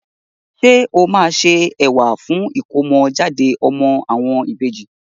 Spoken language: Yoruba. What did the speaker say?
Ṣé o máa se ẹ̀wà fún ìkómọ jáde ọmọ àwọn ìbejì.